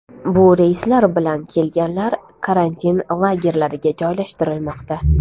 Bu reyslar bilan kelganlar karantin lagerlariga joylashtirilmoqda.